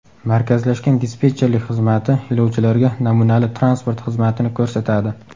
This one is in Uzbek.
Markazlashgan dispetcherlik xizmati yo‘lovchilarga namunali transport xizmatini ko‘rsatadi.